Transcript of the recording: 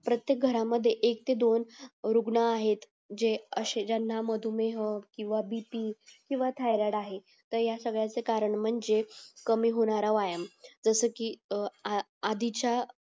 प्रत्येक घरामध्ये एक ते दोन वृग्न आहेत जे असे ज्याना मधुमेह किंवा बीपी किंवा थयराइड आहे यासगळयांचे कारण म्हणजे कमी होणार व्यायाम जस कि अ आ आधीच्या